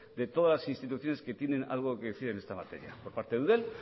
de todas las instituciones que tienen algo que decir en esta materia por parte de eudel